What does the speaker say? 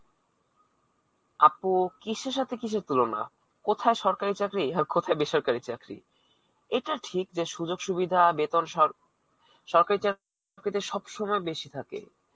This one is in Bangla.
আপু, কিসের সাথে কিসের তুলনা! কোথায় সরকারী চাকরি, আর কোথায় বেসরকারী চাকরি. এটা ঠিক যে, সুযোগ সুবিধা, বেতন সব সরকারী চাকরীদের সবসময় বেশী থাকে.